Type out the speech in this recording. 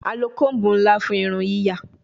A lo comb nla fun irun yiya